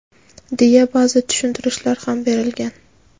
deya ba’zi tushuntirishlar ham berilgan.